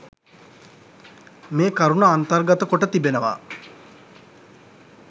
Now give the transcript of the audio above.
මේ කරුණ අන්තර්ගත කොට තිබෙනවා